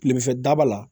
Kilemanfɛ daba la